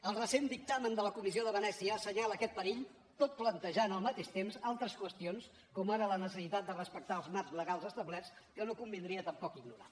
el recent dictamen de la comissió de venècia assenyala aquest perill tot plantejant al mateix temps altres qüestions com ara la necessitat de respectar els marcs legals establerts que no convindria tampoc ignorar